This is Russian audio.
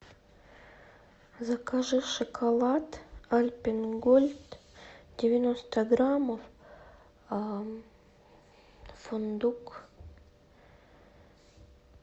закажи шоколад альпен голд девяносто граммов фундук